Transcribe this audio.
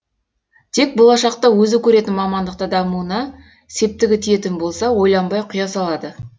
тек болашақта өзі көретін мамандықта дамуына септігі тиетін болса ойланбай құя салады